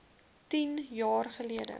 tien jaar geldig